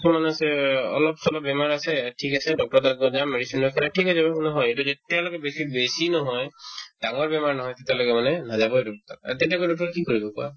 কিছুমান আছে এ অলপ-চলপ বেমাৰ আছে থিক আছে doctor ৰৰ তাত গৈ কিনে medicine লৈ পেলাই থিক আছে একো নহয় এইটো থিক তেওঁলোকে বেছি বেছি নহয় ডাঙৰ বেমাৰ নহয় তেতিয়ালৈকে মানে নাযাবই doctor ৰৰ তাতে তেনেকে কৰিলে কি কৰিব কোৱা